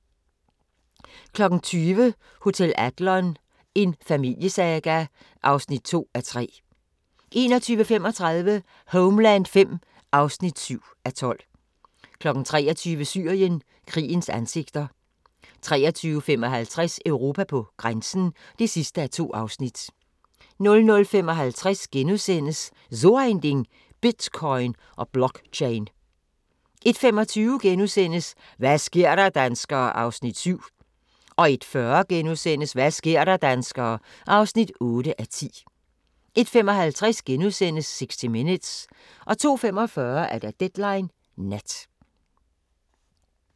20:00: Hotel Adlon – en familiesaga (2:3) 21:35: Homeland V (7:12) 23:00: Syrien – krigens ansigter 23:55: Europa på grænsen (2:2) 00:55: So ein Ding: Bitcoin & Blockchain * 01:25: Hva' sker der, danskere? (7:10)* 01:40: Hva' sker der, danskere? (8:10)* 01:55: 60 Minutes * 02:45: Deadline Nat